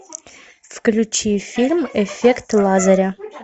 включи фильм эффект лазаря